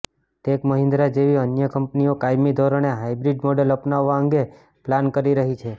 tech Mahindra જેવી અન્ય કંપનીઓ કાયમી ધોરણે હાઈબ્રીડ મોડલ અપનાવવા અંગે પ્લાન કરી રહી છે